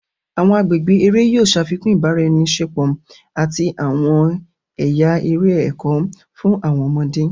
Awọn agbègbè eré yóò ṣafikun ibaraẹniṣepo àti awọn ẹya eré ẹkọ fún awọn ọmọde.